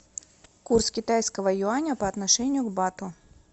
курс китайского юаня по отношению к бату